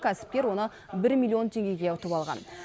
кәсіпкер оны бір миллион теңгеге ұтып алған